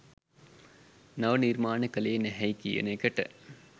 නව නිර්මාන කලේ නැහැයි කියන එකට